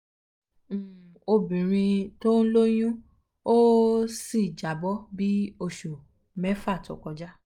um obirin um to n loyun o um si jabo bi osu mefa to koja